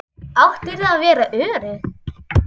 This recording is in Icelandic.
Áttirðu að vera örugg?